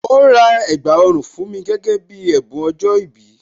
Ó rà ẹ̀gbà ọrùn fún mi gẹ́gẹ́ bí ẹ̀bùn ọjọ́ ìbí